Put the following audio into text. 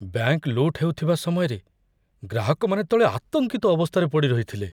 Bank ଲୁଟ୍ ହେଉଥିବା ସମୟରେ ଗ୍ରାହକମାନେ ତଳେ ଆତଙ୍କିତ ଅବସ୍ଥାରେ ପଡ଼ି ରହିଥିଲେ।